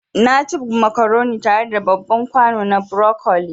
Naci macaroni tare da babban kwano na broccoli